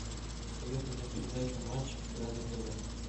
посоветуй мне передачу матч игра на тв